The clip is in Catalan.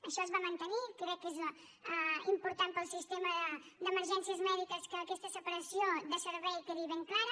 això es va mantenir crec que és important per al sistema d’emergències mèdiques que aquesta separació de servei quedi ben clara